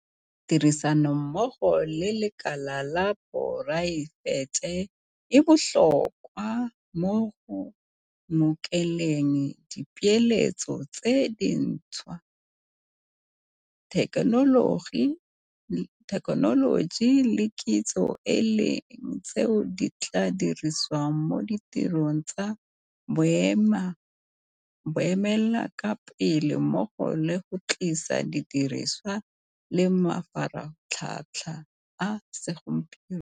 Tirisanommogo le lekala la poraefete e botlhokwa mo go ngokeleng dipeeletso tse dintšhwa, thekenoloji le kitso e leng tseo di tla dirisiwang mo ditirong tsa boemelakepele mmogo le go tlisa didirisiwa le mafaratlhatlha a segompieno.